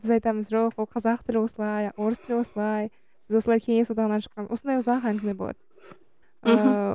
біз айтамыз жоқ ол қазақ тілі осылай орыс тілі осылай біз осылай кеңес одағынан шыққан осындай ұзақ әңгіме болады мхм ыыы